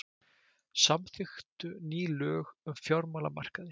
Samþykktu ný lög um fjármálamarkaði